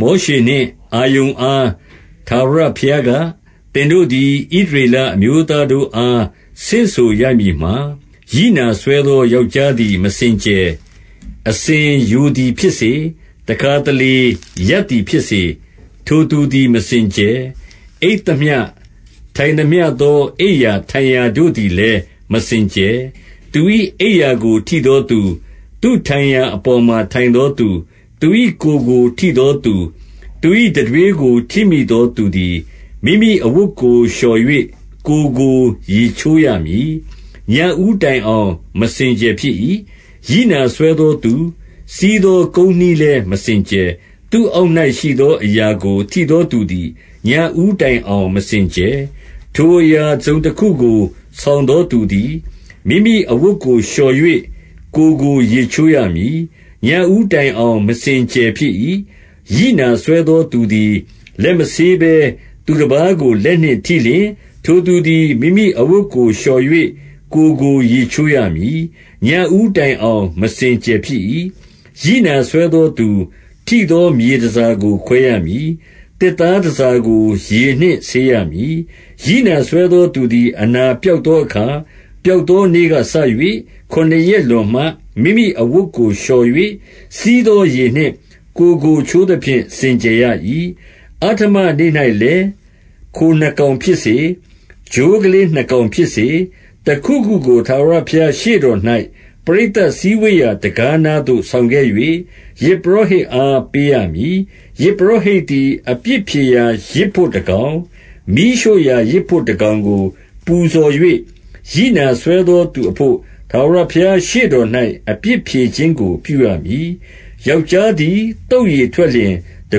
မောရှေနှင့် အာရုန်အား ထာဝရဘုရားက၊- 2 သင်တို့သည် ဣသရေလအမျိုးသားတို့အား ဆင့်ဆိုရမည်မှာ၊ ရိနာစွဲသော ယောက်ျားသည် မစင်ကြယ်။ 3 အစဉ်ယိုသည်ဖြစ်စေ၊ တခါတလေ ရပ်သည်ဖြစ်စေ၊ ထိုသူသည် မစင်ကြယ်။ 4 အိပ်သမျှထိုင်သမျှသော အိပ်ရာထိုင်ရာတို့သည်လည်း မစင်ကြယ်။ 5 သူ၏အိပ်ရာကိုထိသောသူ၊ သူ့ထိုင်ရာအပေါ်မှာ ထိုင်သောသူ၊ 6 သူ၏ ကိုယ်ကို ထိသောသူ၊ 7 သူ၏ တံထွေးထိမိသောသူသည်၊ မိမိအဝတ်ကို လျှော်၍ ကိုယ်ကိုရေးချိုးရမည်။ 8 ညဦးတိုင်အောင် မစင်ကြယ်ဖြစ်၏။ 9 ရိနာစွဲသော သူစီးသော ကုန်းနှီးလည်းမစင်ကြယ်။ 10 သူ့အောက်၌ရှိသောအရာကို ထိသောသူသည် ညဦးတိုင်အောင် မစင်ကြယ်။ ထိုအရာ တစုံတခုကို ဆောင်သောသူသည်၊ မိမိအဝတ်ကို လျှော်၍ ကိုယ်ကို ရေချိုးရမည်။ ညဦးတိုင်အောင် မစင်ကြယ်ဖြစ်၏။ 11 ရိနာစွဲသောသူသည်၊ လက်မဆေးဘဲ သူတပါးကို လက်နှင့်ထိလျှင်၊ ထိုသူသည် မိမိအဝတ်ကို လျှော်၍ ကိုယ်ကို ရေချိုးရမည်။ ညဦးတိုင်အောင် မစင်ကြယ်ဖြစ်၏။ 12 ရိနာစွဲသောသူ ထိသော မြေတန်ဆာကို ခွဲရမည်။ သစ်သား တန်ဆာကို ရေနှင့်ဆေးရမည်။ 13 ရိနာစွဲသောသူသည် အနာပျောက်သောအခါ၊ ပျောက်သောနေ့ကစ၍၊ ခုနစ်ရက်လွန်မှ မိမိအဝတ်ကို လျှော်၍၊ စီးသောရေနှင့် ကိုယ်ကိုချိုးသဖြင့် စင်ကြယ်ရ၏။ 14 အဋ္ဌမနေ့၌လည်း၊ ခိုနှစ်ကောင်ဖြစ်စေ၊ ချိုးကလေးနှစ်ကောင်ဖြစ်စေ၊ တခုခုကို ထာဝရဘုရား ရှေ့တော်၌ ပရိသတ်စည်းဝေးရာ တံခါးနားသို့ ဆောင်ခဲ့၍၊ ယဇ်ပုရောဟိတ်အား ပေးရမည်။ 15 ယဇ်ပုရောဟိတ်သည် အပြစ်ဖြေရာယဇ်ဘို့တကောင်၊ မီးရှို့ရာယဇ်ဘို့တကောင်ကို ပူဇော်၍၊ ရိနာစွဲသော သူအဘို့ ထာဝရဘုရားရှေ့တော်၌ အပြစ်ဖြေခြင်းကို ပြုရမည်။ 16 ယောက်ျားသည် သုတ်ရည်ထွက်လျှင် တ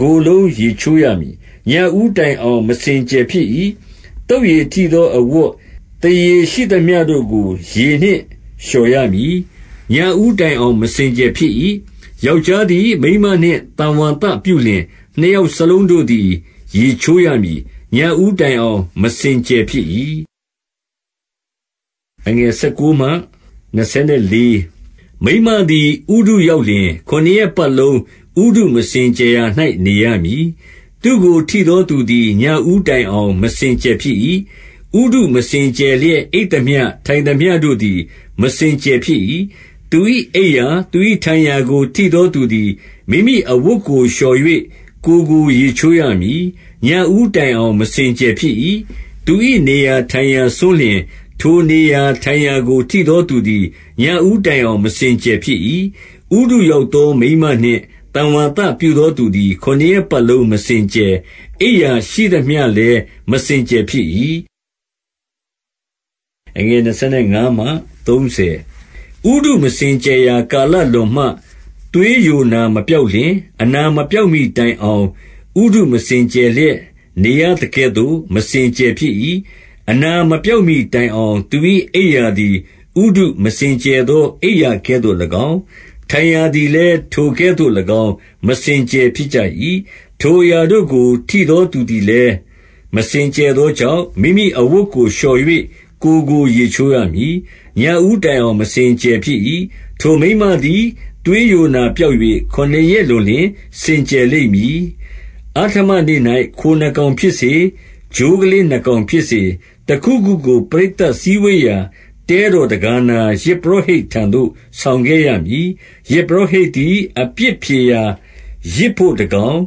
ကိုယ်လုံး ရေချိုးရမည်။ ညဦးတိုင်အောင် မစင်ကြယ်ဖြစ်၏။ 17 သုတ်ရည်ထိသောအဝတ်၊ သားရေရှိသမျှတို့ကို ရေနှင့်လျှော်ရမည်။ 18 ညဦးတိုင်အောင် မစင်ကြယ်ဖြစ်၏။ ယောက်ျားသည် မိန်းမနှင့် သံဝါသပြုလျှင်၊ နှစ်ယောက်စလုံး ရေချိုးရမည်။ ညဦးတိုင်အောင် မစင်ကြယ်ဖြစ်၏။ 19 မိန်းမသည် ဥတုရောက်လျှင်၊ ခုနစ်ရက်ပတ်လုံး ဥတုမစင်ကြယ်ရာ၌ နေရမည်။ သူ့ကို ထိသောသူ သည် ညဦးတိုင်အောင် မစင်ကြယ်ဖြစ်၏။ 20 ဥတုမစင်ကြယ်လျက် အိပ်သမျှ၊ ထိုင်သမျှတို့သည် မစင်ကြယ်ဖြစ်၏။ 21 သူ၏အိပ်ရာ၊ သူ၏ထိုင်ရာကို ထိသောသူသည် မိမိအဝတ်ကိုလျှော်၍ ကိုယ်ကို ရေချိုးရမည်။ 22 ညဦးတိုင်အောင် မစင်ကြယ်ဖြစ်၏။ 23 သူ၏နေရာထိုင်ရာစွန်းလျှင်၊ ထိုနေရာထိုင်ရာကို ထိသောသူသည် ညဦးတိုင်အောင် မစင်ကြယ်ဖြစ်၏။ 24 ဥတုရောက်သော မိန်းမနှင့် သံဝါသပြုသောသူသည် ခုနှစ်ရက်ပတ်လုံး မစင်ကြယ်၊ အိပ်ရာရှိသမျှ လည်း မစင်ကြယ်ဖြစ်၏။ 25 ဥတုမစင်ကြယ်ရာ ကာလလွန်မှ၊ သွေးယိုနာမပျောက်လျှင်၊ အနာမပျောက်မှီတိုင်အောင် ဥတုမစင် ကြယ်လျက် နေရသကဲ့သို့ မစင်ကြယ်ဖြစ်၏။ 26 အနာမပျောက်မှီတိုင်အောင် သူ၏အိပ်ရာသည် ဥတုမစင်ကြယ်ရာ အိပ်ရာကဲ့သို့၎င်း၊ ထိုင်ရာသည် ၎င်း မစင်ကြယ်ဖြစ်၏။ 27 ထိုအရာတို့ကို ထိသောသူသည်လည်း မစင်ကြယ်သောကြောင့်၊ မိမိအဝတ်ကို လျှော်၍ ကိုယ်ကို ရေချိုးရမည်။ ညဦးတိုင်အောင် မစင်ကြယ်ဖြစ်၏။ 28 ထိုမိန်းမသည် သွေးယိုနာပျောက်၍ ခုနစ်ရက်လွန်လျှင် စင်ကြယ်လိမ့်မည်။ 29 အဋ္ဌမနေ့၌ ခိုနှစ်ကောင်ဖြစ်စေ၊ ချိုးကလေးနှစ်ကောင်ဖြစ်စေ၊ တခုခုကို ပရိသတ်စည်းဝေးရာ တဲတော်တံခါးနား၊ ယဇ်ပုရောဟိတ်ထံသို့ ဆောင်ခဲ့ရမည်။ 30 ယဇ်ပုရောဟိတ်သည် အပြစ်ဖြေရာယဇ်ဘို့တကောင်၊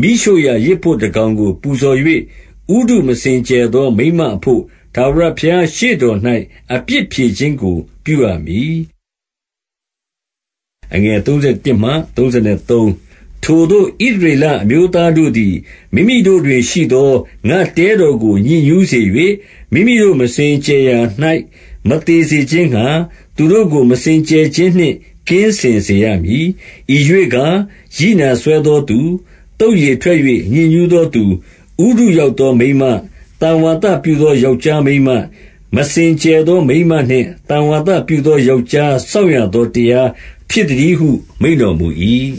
မီးရှို့ရာယဇ်ဘို့တကောင်ကို ပူဇော်၍၊ ဥတုမစင် ကြယ်သော မိန်းမအဘို့ ထာဝရဘုရား ရှေ့တော်၌ အပြစ်ဖြေခြင်းကို ပြုရမည်။ 31 ထိုသို့ ဣသရေလအမျိုးသားတို့သည် မိမိတို့တွင်ရှိသော ငါ့တဲတော်ကို ညစ်ညူးစေ၍၊ မိမိတို့ မစင် ကြယ်ရာ၌ မသေစေခြင်းငှါ၊ သူတို့ကို မစင်ကြယ်ခြင်းနှင့် ကင်းစင်စေရမည်။ 32 ဤရွေ့ကား၊ ရိနာစွဲသောသူ၊ 33 သုတ်ရည်ထွက်၍ ညစ်ညူးသောသူ၊- ဥတုရောက်သော မိန်းမ၊ သံဝါသပြုသော ယောက်ျားမိန်းမ၊ မစင်ကြယ်သောမိန်းမနှင့် သံဝါသပြုသောယောက်ျား စောင့်ရသောတရား ဖြစ်သတည်းဟု မိန့်တော် မူ၏။